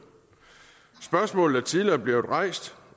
spørgsmålet er tidligere blevet rejst